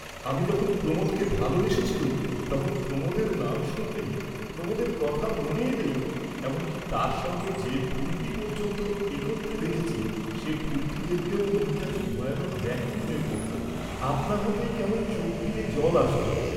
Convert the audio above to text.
আমি যখন প্রমোদকে ভালবেসেছিলুম তখন প্রমোদের নাম শুনলেই, প্রমোদের কথা মনে এলেই, এমন কি তাঁর সঙ্গে যে ফুলটি পর্য্যন্ত একত্রে দেখেছি সে ফুলটি দেখলেও মনটা কি ভয়ানক ব্যাকুল হয়ে পড়ত, আপনা হতেই কেমন চোক বিয়ে জল আসত।